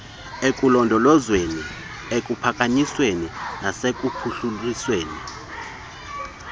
ekulondolozweni ekuphakanyisweni nasekuphuhlisweni